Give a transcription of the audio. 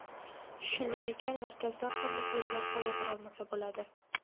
Shunday ekan markazdan ham muxlislar xavotir olmasa bo‘ladi.